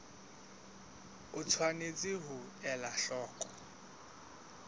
o tshwanetse ho ela hloko